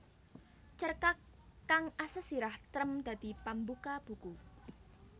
Cerkak kang asesirah Trem dadi pambuka buku